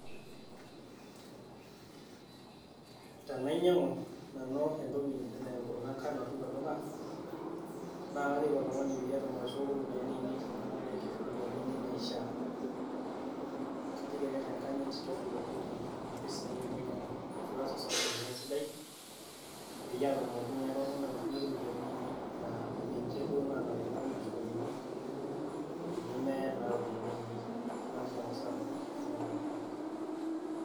Tenainyiangu Nanu enaa enkurma engano teilo duka, naa kajoki oltung'ani paatum atushukoki iropiyiani ainei teneeku eitu atum atushukoki iropiyiani ainei naifaa, kajoki ake tenganyit tushukoki iropiyiani ainei amu eitu ias osabu lino esidai peyie aatumoki ilo tung'ani atushukoki iropiyiani ainei naa ninche duo enaarikino naashukoki peyie emeya naa iropiyiani ainei naliki ake osabu enaa enaikunari.